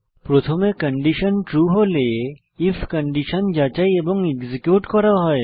প্রথমে condition true হলে IF condition যাচাই এবং এক্সিকিউট করা হয়